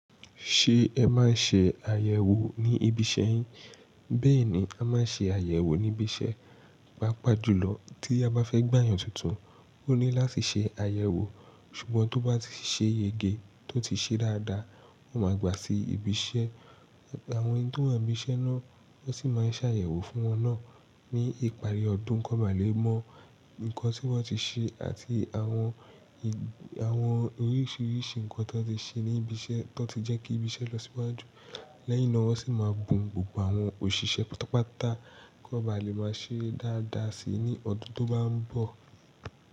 Ṣé ẹ máa ń ṣe àyẹ̀wò ní ibi iṣẹ́ yín? Bẹ́ẹ̀ ni, a máa ń ṣe àyẹ̀wò ní ibi iṣẹ́. Pápá jùlọ tí a bá fẹ́ gbà yàn tuntun, ó ní láti ṣe àyẹ̀wò. Ṣùgbọ́n tó bá ti ṣe yege tó ti ṣe dáadáa, wọn máa gbà sí ibi iṣẹ́. Àwọn ẹni tó wà níbi iṣẹ́ náà wọn sì máa ń ṣàyẹ̀wò fún wọn náà ní ìparí ọdún. Kọ́ba lè mọ nǹkan tí wọ́n ti ṣe àti àwọn oríṣiríṣi nǹkan tó ti ṣe ní ibi iṣẹ́ tó ti jẹ́ kí ibi iṣẹ́ lọ síwájú. Lẹ́yìn náà, wọ́n sì máa bùn gbogbo àwọn òṣìṣẹ́ pátápátá kọ́ba lè máa ṣe dáadáa si ní ọdún tó bá ń bọ̀.